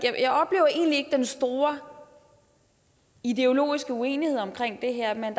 den store ideologiske uenighed om det her men